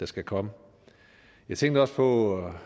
skal komme jeg tænkte også på